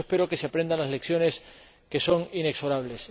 Por eso, espero que se aprendan las lecciones, que son inexorables.